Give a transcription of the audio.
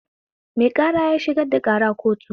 Mai ƙara ya shigar da ƙara kotu